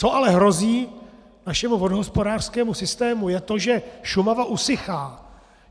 Co ale hrozí našemu vodohospodářskému systému, je to, že Šumava usychá.